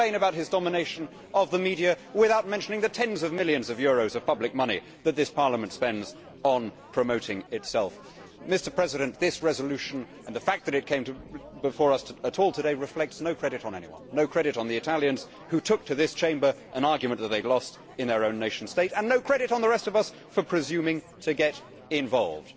They complain about his domination of the media, without mentioning the tens of millions of euros of public money that this Parliament spends on promoting itself. This resolution, and the fact that it came before us at all today, reflects no credit on anyone no credit on the Italians, who took to this Chamber an argument that they had lost in their own nation state, and no credit on the rest of us for presuming to get involved.